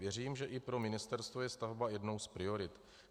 Věřím, že i pro ministerstvo je stavba jednou z priorit.